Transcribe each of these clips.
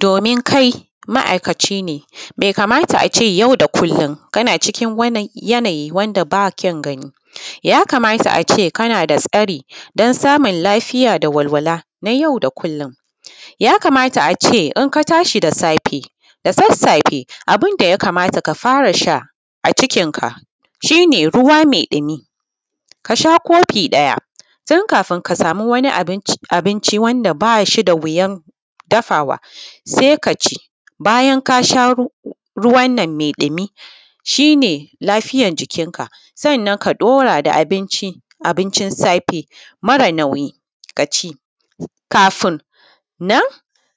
Domin ma’aikaci ne bai kamata ace yau da kullum kana cikin wani yanayi wand aba kyan gani, ya kamata ace kanada tsari dan samun lafiya da walwala na yau da kullum. Ya kamata ace inka tashi da safe da sassafe abunda ya kamata ka farasha a cikin ka shine shine ruwa mai ɗimi kasha kofi ɗaya kafin kasami wani abinci wanda bashida wuyan dafawa kaci, bayan kasha ruwanna mai ɗimi shine lafiyar jikin ka sannan ka ɗora da abinci, abincin safe mara nauyi kaci. Kafunnan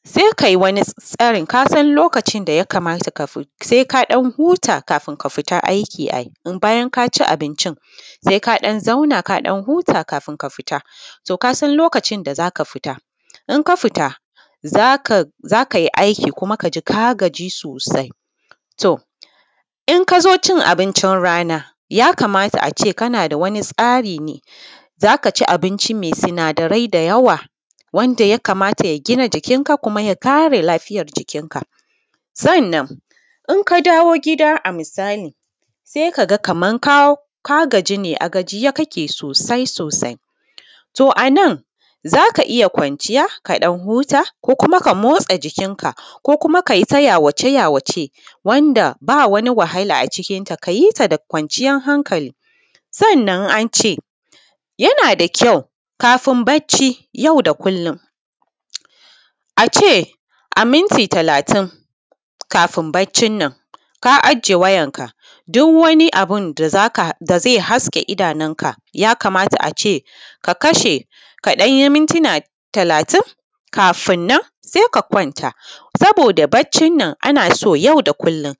sai kai wani tsarin kasan lokacin sai ka ɗan huta kafin ka fita aiki ai bayan kaci abincin. Kaɗan kaɗan hutu tukuna kafin kafi, to kasan lokacin da zaka fita inka fita zakai aiki kuma kaji ka gaji sosai In kazo cin abincin rana yakamata ace kanada wani tsari ne zaka ci abinci mai sinadarai da yawa wanda yakmata ya gina jikin ka muka yak are lafiyar jikin ka. Sannan inka dawo gida a misali sai kaga Kaman ka gaji ne a gajiye kake sosai sosai, to anan zaka iyya kwanciya kaɗan huta ko kuma ka motsa jikin ka, ko kuma kayita yawace yawace wand aba wahala a cikin ta kiyita da kwanciyan hankali. Sannan ance yanada kyau kafin bacci yau da kullum ace a minti talatin kafin baccinnan, ka aje wayarka duk wani abunda zai haske idonka ya kamata ace ka kasha kaɗanyi mituna talatin kafinnan saika kwanta saboda baccinnan a naso yau da kullum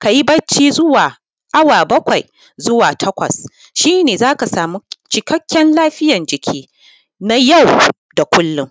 kayi bacci zuwa awa bakwai zuwa takwas shine zaka samu cikakken lafiyan jiki na yau da kullum.